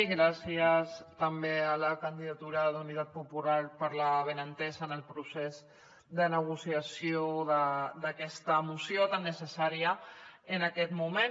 i gràcies també a la candidatura d’unitat popular per la bona entesa en el procés de negociació d’aquesta moció tan necessària en aquest moment